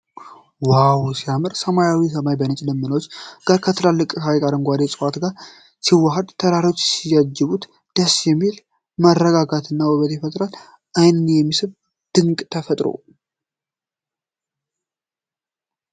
ዋው ሲያምር! ሰማያዊው ሰማይ ከነጭ ደመናዎች ጋር ከትልቅ ሀይቅና ከአረንጓዴ ዕፅዋት ጋር ሲዋሃድ! ተራሮች ሲያጅቡት! ደስ የሚል መረጋጋትና ውበት ይፈጠራል። ዓይንን የሚስብ ድንቅ ተፈጥሮ።